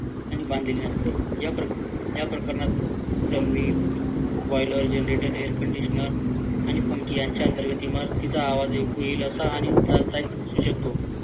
आणि बांधण्यात येईल या प्रकरणात plumbing, boiler, generator, air conditioner आणि पंखे यांच्या अंतर्गत इमारतीचा आवाज ऐकू येईल असा आणि